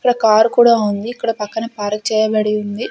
ఇక్కడ కార్ కూడా ఉంది ఇక్కడ పక్కన పార్క్ చేయబడి ఉంది.